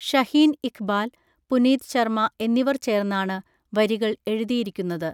ഷഹീൻ ഇഖ്ബാൽ, പുനീത് ശർമ എന്നിവർ ചേർന്നാണ് വരികൾ എഴുതിയിരിക്കുന്നത്.